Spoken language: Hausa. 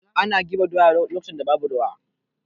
Ana girbe doya lokacin da babu ruwa.